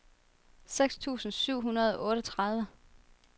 seks tusind syv hundrede og otteogtredive